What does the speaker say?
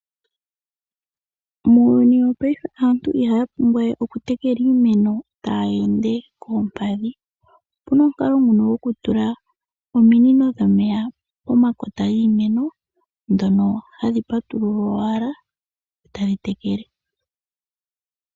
Muuyuni wo paife aantu ihaa pumbwawe oku tekela iimeno tayeende koompadhi opuna omukalo nguno goku tula ominino dhomeya poma kota giimeno dhono hadhi patululwa owala eta dhi tekele.